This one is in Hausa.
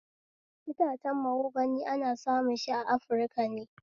Itacen mahogani ana samun shi a afirika ne